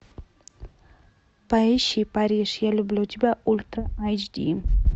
поищи париж я люблю тебя ультра айч ди